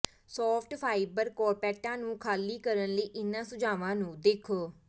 soft fibre ਕਾਰਪੈਟਾਂ ਨੂੰ ਖਾਲੀ ਕਰਨ ਲਈ ਇਹਨਾਂ ਸੁਝਾਆਂ ਨੂੰ ਦੇਖੋ